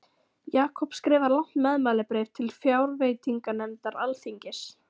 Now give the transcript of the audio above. Jakob skrifar langt meðmælabréf til fjárveitinganefndar alþingis.